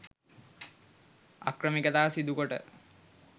අක්‍රමිකතා සිදුකොට